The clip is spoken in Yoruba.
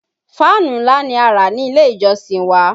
Fáànù ńlá ni a rà ní ilé - ìjọsìn wa